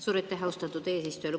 Suur aitäh, austatud eesistuja!